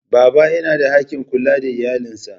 Baba yana da haƙƙin kula da iyalansa.